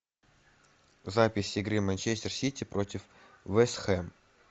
запись игры манчестер сити против вест хэм